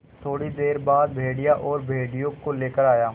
थोड़ी देर बाद भेड़िया और भेड़ियों को लेकर आया